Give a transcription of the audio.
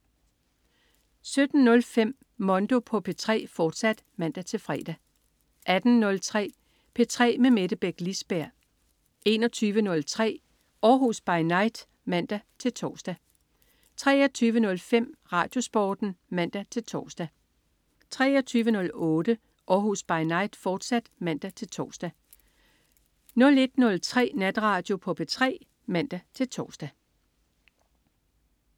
17.05 Mondo på P3, fortsat (man-fre) 18.03 P3 med Mette Beck Lisberg 21.03 Århus By Night (man-tors) 23.05 RadioSporten (man-tors) 23.08 Århus By Night, fortsat (man-tors) 01.03 Natradio på P3 (man-tors)